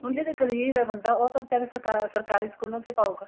ਹੁਣ ਜੇ ਗਰੀਬ ਏ ਬੰਦਾ ਉਹ ਕਹਿੰਦੇ ਸਰਕਾਰੀ ਸਕੂਲਾ ਚ ਪਾਉਗਾ